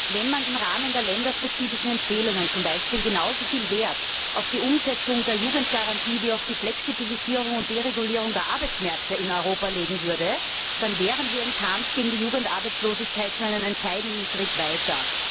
Wenn man im Rahmen der länderspezifischen Empfehlungen zum Beispiel genauso viel Wert auf die Umsetzung der Jugendgarantie wie auf die Flexibilisierung und Deregulierung der Arbeitsmärkte in Europa legen würde, dann wären wir im Kampf gegen die Jugendarbeitslosigkeit schon einen entscheidenden Schritt weiter.